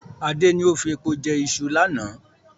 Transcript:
Adé ni ó fi epo jẹ ìṣù lánà